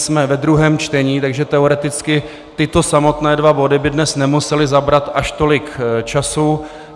Jsme ve druhém čtení, takže teoreticky tyto samotné dva body by dnes nemusely zabrat až tolik času.